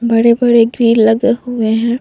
बड़े-बड़े लगे हुए हैं।